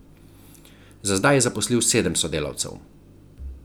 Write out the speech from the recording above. Za zdaj je zaposlil sedem sodelavcev.